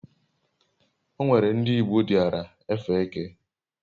o nwere ndi igbo diara efe eke